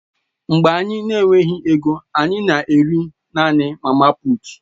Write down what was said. Mgbe anyị na-enweghị ego, anyị na-eri naanị mama puut.